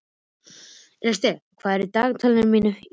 Estel, hvað er í dagatalinu mínu í dag?